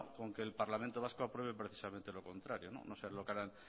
con que el parlamento vasco apruebe precisamente lo contrario no sé lo que hará